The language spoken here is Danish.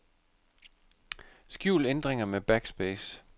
Skjul ændringer med backspace.